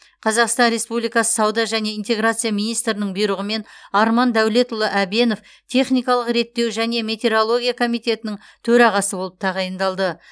қазақстан республикасы сауда және интеграция министрінің бұйрығымен арман дәулетұлы әбенов техникалық реттеу және метрология комитетінің төрағасы болып тағайындалды